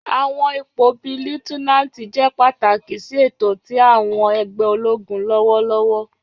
Àwọn ipo bii Liutenanti jẹ pataki si eto ti àwọn ẹgbẹ ologun lọwọlọwọ.